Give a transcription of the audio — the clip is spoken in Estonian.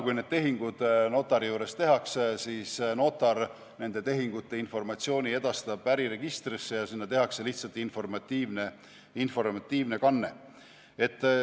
Kui need tehingud notari juures tehakse, siis notar edastab informatsiooni äriregistrisse ja sinna tehakse lihtsalt informatiivne kanne.